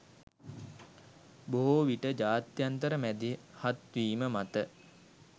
බොහෝ විට ජාත්‍යන්තර මැදිහත්වීම මත